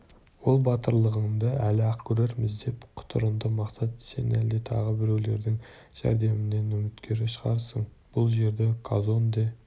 ол батырлығыңды әлі-ақ көрерміз деп құтырынды мақсат сен әлде тағы біреулердің жәрдемінен үміткер шығарсың бұл жерді казонде